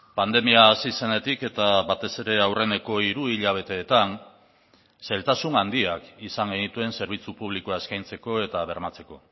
pandemia hasi zenetik eta batez ere aurreneko hiru hilabeteetan zailtasun handiak izan genituen zerbitzu publikoa eskaintzeko eta bermatzeko